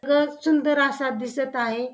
रथ सुंदर असा दिसत आहे.